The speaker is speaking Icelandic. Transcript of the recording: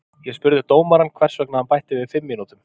Ég spurði dómarann hvers vegna hann bætti við fimm mínútum.